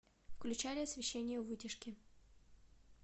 включали освещение у вытяжки